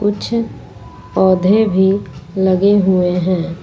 कुछ पौधे भी लगे हुए हैं।